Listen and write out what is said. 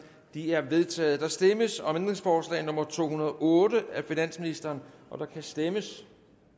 de er vedtaget der stemmes om ændringsforslag nummer to hundrede og otte af finansministeren der kan stemmes